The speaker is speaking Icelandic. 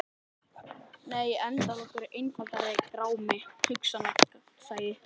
Nei endalok eru einfaldur grámi: hugsanlegt gagnsæi.